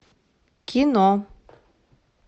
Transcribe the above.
кино